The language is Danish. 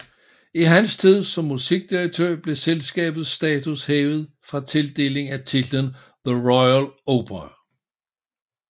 I hans tid som musikdirektør blev selskabets status hævet ved tildeling af titlen The Royal Opera